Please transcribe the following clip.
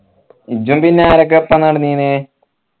ഇജ്ജും പിന്നെ ആരൊക്കെയാ ഒപ്പോം നടന്നീനെ